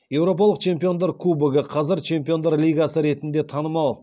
еуропалық чемпиондар кубогы